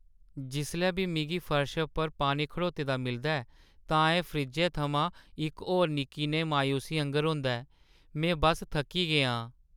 जिसलै बी मिगी फर्शै पर पानी खड़ोते दा मिलदा ऐ, तां एह्‌ फ्रिज्जै थमां इक होर निक्की नेही मायूसी आंह्‌गर होंदा ऐ। में बस्स थक्की गेआ आं।